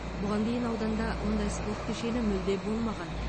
бұған дейін ауданда мұндай спорт кешені мүлде болмаған